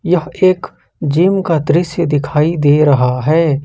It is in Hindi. यह एक जिम का दृश्य दिखाई दे रहा है।